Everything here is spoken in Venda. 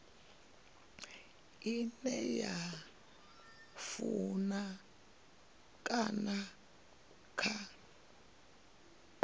ine dza funa kana dza